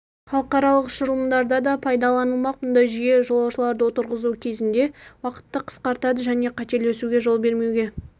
халықаралық ұшырылымдарда да пайдаланылмақ мұндай жүйе жолаушыларды отырғызу кезінде уақытты қысқартады және қателесуге жол бермеуге